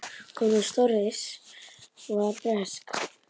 Kona hans Doris var bresk.